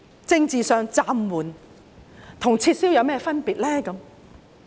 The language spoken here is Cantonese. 政治上，"暫緩"與"撤銷"有甚麼分別呢？